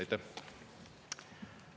Aitäh!